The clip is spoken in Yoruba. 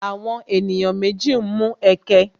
Àwọn ènìyàn méjì ń mu ẹkẹ